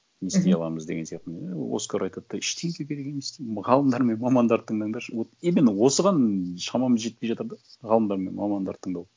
мхм не істей аламыз деген сияқтыны иә оскар айтады да ештеңе керек емес деймін ғалымдар мен мамандарды тыңдандаршы вот именно осыған шамамыз жетпей жатыр да ғалымдар мен мамандарды тыңдау